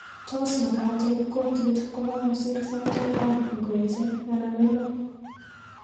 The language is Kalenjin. Tos magaat aiip kotit kogagosiir sait angwan ngoeche anan olo